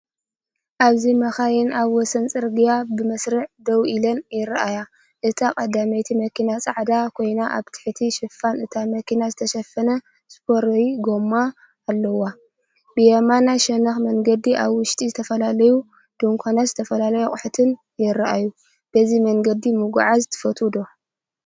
ኣብዚ መካይን ኣብ ወሰን ጽርግያ ብመስርዕ ደው ኢለን ይረኣያ። እታ ቀዳመይቲ መኪና ጻዕዳ ኮይና ኣብ ትሕቲ ሽፋን እታ መኪና ዝተሸፈነ ስፔር ጎማ ኣለዋ። ብየማናይ ሸነኽ መንገዲ ኣብ ውሽጢ ዝተፈላለዩ ድኳናትን ዝተፈላለዩ ኣቑሑትን ይረኣዩ። በዚ መንገዲ ምጉዓዝ ትፈቱ ዶ?